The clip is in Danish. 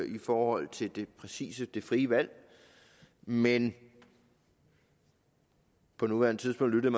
i forhold til præcis det frie valg men på nuværende tidspunkt lyttede